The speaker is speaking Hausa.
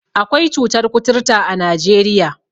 Akwai cutar kuturta a Najeriya.